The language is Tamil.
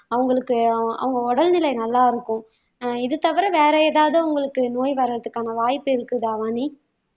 அவங்களுக்கு அவங்க உடல்நிலை நல்லா இருக்கும் ஆஹ் இது தவிர வேற ஏதாவது உங்களுக்கு நோய் வர்றதுக்கான வாய்ப்பு இருக்குதா வாணி